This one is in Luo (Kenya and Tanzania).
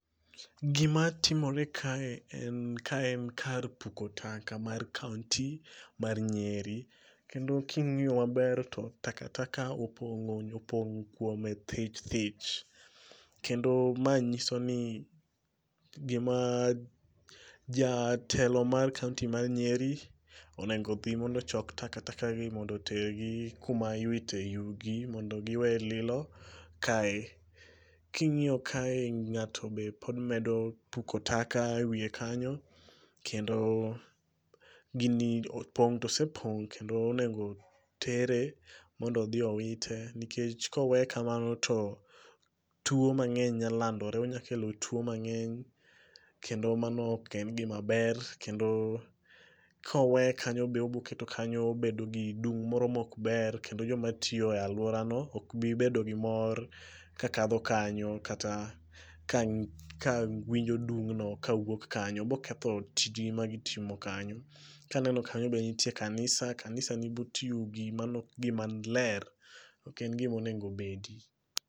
Gimatimore kae en ka en kar puko taka mar kaonti mar Nyeri, kendo king'i maber to takataka opong' kuome thich thich, kendo ma ng'iso ni jatelo mar kaonti mar Nyeri onego dhi mondo ochok takatakagi mondo otergi kuma iwite yugi mondo giwe lilo kae. King'iyo kae ng'ato be pod medo puko taka e wiye kanyo, kendo gini opong' to osepong' kendo onego tere mondo odhi owite nikech koweye kamano to tuo mang'eny nya landore onyakelo tuo mang'eny kendo mano ok en gimaber kendo koweye kanyo be oboketo kanyo bedo gi dung' moro mokber kendo jomatiyo e alworano okbi bedo gi mor kakadho kanyo kata ka winjo dung'no kawuok kanyo. Boketho tijgi magitimo kanyo. Kaneno kanyo be nitie kanisa, kanisa ni but yugi, mano ok gimaler ok en gimonegobedi.